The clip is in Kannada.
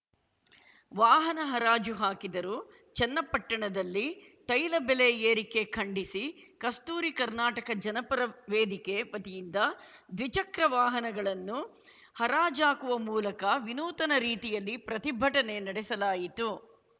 ವಾಹನ ಹರಾಜು ಹಾಕಿದರು ಚನ್ನಪಟ್ಟಣದಲ್ಲಿ ತೈಲ ಬೆಲೆ ಏರಿಕೆ ಖಂಡಿಸಿ ಕಸ್ತೂರಿ ಕರ್ನಾಟಕ ಜನಪರ ವೇದಿಕೆ ವತಿಯಿಂದ ದ್ವಿಚಕ್ರವಾನಗಳನ್ನು ಹರಾಜಾಕುವ ಮೂಲಕ ವಿನೂತನ ರೀತಿಯಲ್ಲಿ ಪ್ರತಿಭಟನೆ ನಡೆಸಲಾಯಿತು